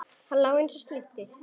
Hann lá eins og slytti.